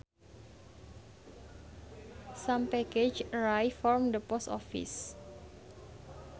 Some packages arrived from the post office